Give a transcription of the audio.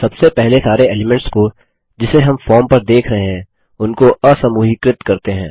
सबसे पहले सारे एलीमेंट्स को जिसे हम फॉर्म पर देख रहे हैं उनको असमूहीकृत करते हैं